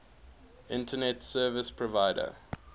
internet service provider